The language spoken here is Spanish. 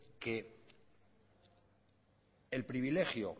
que el privilegio